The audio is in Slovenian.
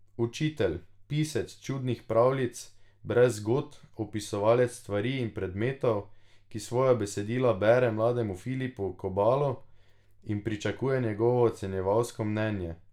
Učitelj, pisec čudnih pravljic brez zgodb, opisovalec stvari in predmetov, ki svoja besedila bere mlademu Filipu Kobalu in pričakuje njegovo ocenjevalsko mnenje.